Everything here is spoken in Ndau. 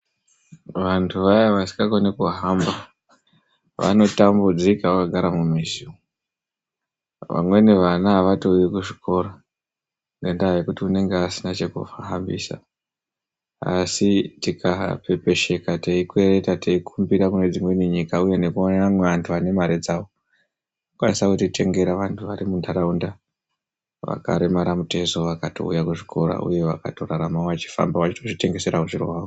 Vantu vaya vasingakoni kuhamba vanotambudzika vakagara mumizi umu. Vamweni vana avatouyi kuzvikora ngendaa yekuti unenge asina chekuhambisa asi tikapepesheka teikwereta teikumbira kune dzimweni nyika uye nekuona amwe antu ane mari dzavo tinokwanisa kutotengera vantu vari muntaraunda vakaremara mutezvo vakatouya kuzvikora uye vakatoraramawo vachifamba vachitozvitengeserawo zviro zvavo.